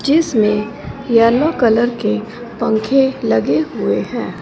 जिसमें yellow colour के पंखे लगे हुए हैं।